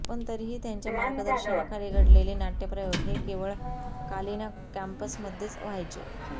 पण तरीही त्यांच्या मार्गदर्शनाखाली घडलेले नाटय़प्रयोग हे केवळ कालिना कॅम्पसमध्येच व्हायचे